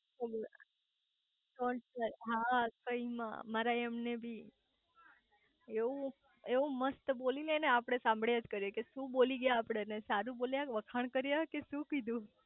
taunt હા ટોઇન માં હા મારા એમને બી એવું એવું મસ્ત બોલી લે ને આપડે સાંભળ્યા જ કરીયે કે શુ બોલી ગયા આપડું સારું બોલ્યા કે વખાણ કર્યા કે શુ કીધું